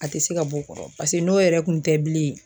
A te se ka b'o kɔrɔ pase n'o yɛrɛ kun tɛ bilen